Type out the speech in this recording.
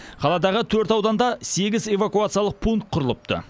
қаладағы төрт ауданда сегіз эвакуациялық пункт құрылыпты